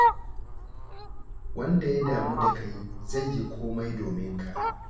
Wanda ya damu da kai zai yi komai domin ka.